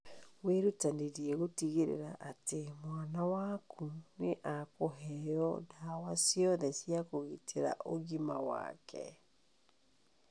Wĩrutanĩrie gũtigĩrĩra atĩ mwana waku nĩ ekũheo ndawa ciothe cia kũgitĩra ũgima wake.